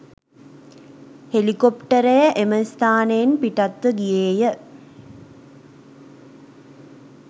හෙලිකොප්ටරය එම ස්ථානයෙන් පිටත්ව ගියේය.